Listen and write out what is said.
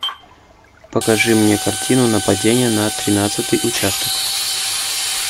покажи мне картину нападение на тринадцатый участок